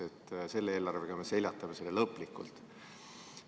See tähendab, et selle eelarvega me seljatame selle viiruse lõplikult.